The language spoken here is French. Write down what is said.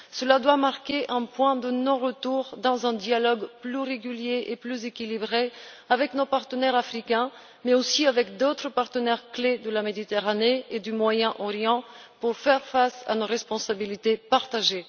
Cela doit marquer un point de non retour dans un dialogue plus régulier et plus équilibré avec nos partenaires africains, mais aussi avec d'autres partenaires clés de la Méditerranée et du Moyen Orient, pour faire face à nos responsabilités partagées.